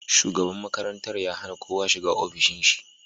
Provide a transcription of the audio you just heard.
Shugaban makaranta ya hana kowa shiga ofishin shi